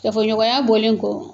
Kafoɲɔgɔnya bɔlen kɔ